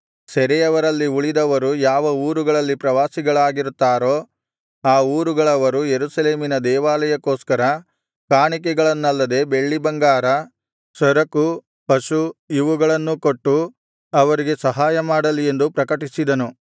ಸೆರೆಯವರಲ್ಲಿ ಉಳಿದವರು ಯಾವ ಊರುಗಳಲ್ಲಿ ಪ್ರವಾಸಿಗಳಾಗಿರುತ್ತಾರೋ ಆ ಊರುಗಳವರು ಯೆರೂಸಲೇಮಿನ ದೇವಾಲಯಕ್ಕೋಸ್ಕರ ಕಾಣಿಕೆಗಳನ್ನಲ್ಲದೆ ಬೆಳ್ಳಿಬಂಗಾರ ಸರಕು ಪಶು ಇವುಗಳನ್ನೂ ಕೊಟ್ಟು ಅವರಿಗೆ ಸಹಾಯ ಮಾಡಲಿ ಎಂದು ಪ್ರಕಟಿಸಿದನು